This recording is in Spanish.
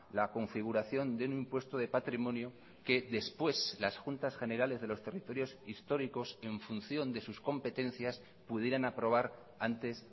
la configuración de un impuesto de patrimonio que después las juntas generales de los territorios históricos en función de sus competencias pudieran aprobar antes